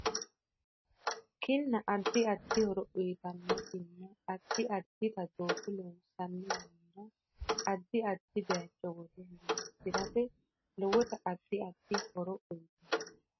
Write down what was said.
Kinna addi addi horo uyiitanno kinaa addi addita dooga loonsanni yannara addi addi bayiicho wore horoonsirate lowota addi addi horo uyiitanno